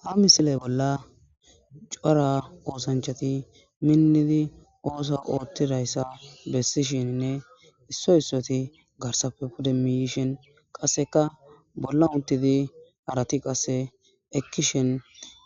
Ha misile bola cora osanichchati minidi oso oththizayisa besishshenne isso issoti garisappe pudde mihishshe qasekka bolani utidi harati qase ekishshini